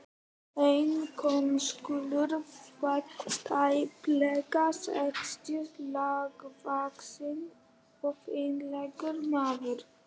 Einar konsúll var tæplega sextugur, lágvaxinn og fínlegur maður.